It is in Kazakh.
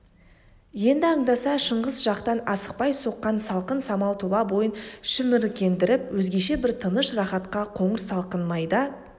енді аңдаса шыңғыс жақтан асықпай соққан салқын самал тұла бойын шіміркендіріп өзгеше бір тыныш рахатқа қоңыр салқын майда